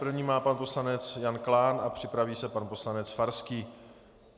První má pan poslanec Jan Klán a připraví se pan poslanec Farský.